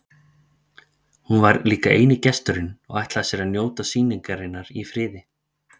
Hún var líka eini gesturinn og ætlaði sér að njóta sýningarinnar í friði.